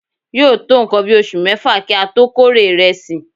yóò tó nǹkan bí oṣù mẹ́fà kí ó tó kórè ìrẹsì.